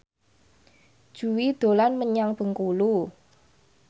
Jui dolan menyang Bengkulu